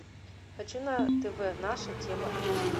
хочу на тв наша тема эйч ди